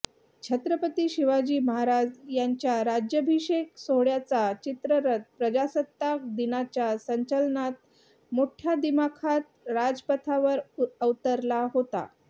छत्रपती शिवाजी महाराज यांच्या राज्याभिषेक सोहळ्याचा चित्ररथ प्रजासत्ताक दिनाच्या संचलनात मोठ्या दिमाखात राजपथावर अवतरला होता